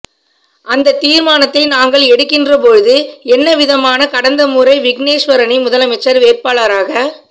அந்தத் திர்மானத்தை நாங்கள் எடுக்கின்ற பொழுது என்னவிதமாகக் கடந்த முறை விக்னேஸ்வரனை முதலமைச்சர் வேட்பாளராக